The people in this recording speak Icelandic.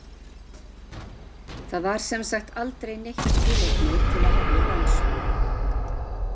Það var sem sagt aldrei neitt tilefni til að hefja rannsókn.